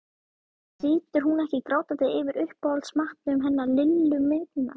Situr hún ekki grátandi yfir uppáhaldsmatnum hennar Lillu minnar